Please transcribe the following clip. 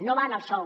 no va en el sou